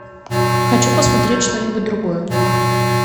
хочу посмотреть что нибудь другое